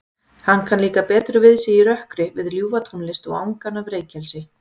Hann kann líka betur við sig í rökkri við ljúfa tónlist og angan frá reykelsi.